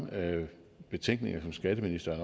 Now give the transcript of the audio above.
betænkeligheder som skatteministeren